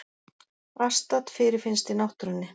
Astat fyrirfinnst í náttúrunni.